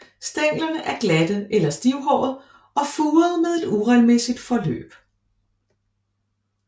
Stænglerne er glatte eller stivhårede og furede med et uregelmæssigt forløb